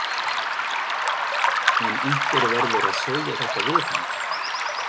En einhver verður að segja þetta við hann.